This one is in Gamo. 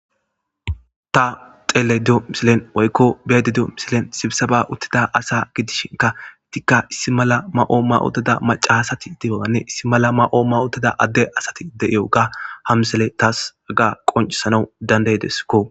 Ta xeele do misilen woykko beediduo misilen sibisaba uttida asa gidishinka tikka issi mala ma7o mawotida macahasati dibabanne issi mala ma7oo mawootida adde asati de7iyoga hamsele taas aga qoncisanawu dandaydeskko.